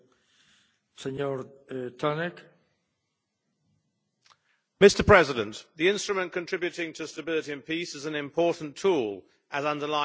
Mr President, the instrument contributing to stability and peace is an important tool, as underlined by the European Commission, most recently in the form of the global strategy.